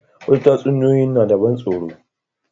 Wasu tatsuniyoyin na da ban tsaro.